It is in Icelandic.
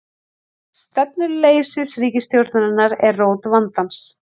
Stefnuleysi ríkisstjórnarinnar sé rót vandans